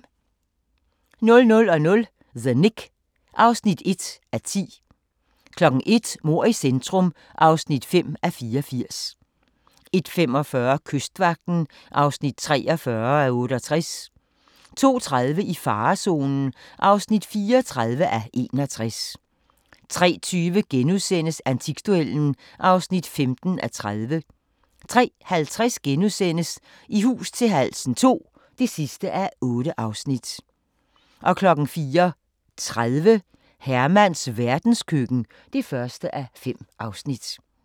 00:00: The Knick (1:10) 01:00: Mord i centrum (5:84) 01:45: Kystvagten (43:68) 02:30: I farezonen (34:61) 03:20: Antikduellen (15:30)* 03:50: I hus til halsen II (8:8)* 04:30: Hermans verdenskøkken (1:5)